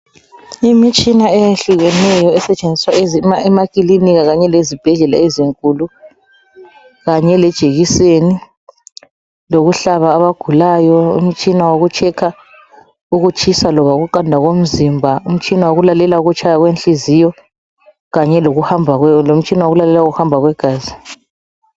Imitshina eyehlukeneyo esetshenziswa emakilinika kanye lezibhedlela ezinkulu kanye lejekiseni lokuhlaba abagulayo. Umtshina wokutshekha ukutshisa loba ukuqanda komzimba, umtshina wokulalela ukutshaya kwenhliziyo kanye lomtshina wokulalela ukuhamba kwegazi.